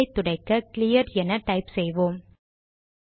டெர்மினலை துடைக்க கிளியர் என டைப் செய்வோம்